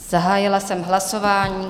Zahájila jsem hlasování.